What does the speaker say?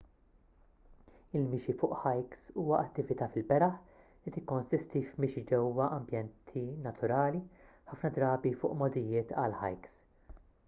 il-mixi fuq hikes huwa attività fil-beraħ li tikkonsisti f'mixi ġewwa ambjenti naturali ħafna drabi fuq mogħdijiet għall-hikes